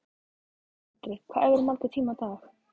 Andri: Hvað æfirðu marga tíma á dag?